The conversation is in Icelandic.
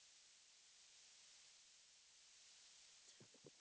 Allt í einu heyri ég kunnuglega rödd.